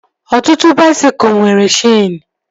Ọtụtụ baisikụl nwere cheenu